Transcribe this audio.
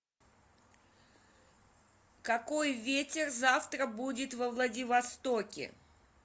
какой ветер завтра будет во владивостоке